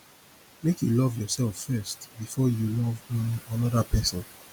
make you love yoursef first before you love um anoda person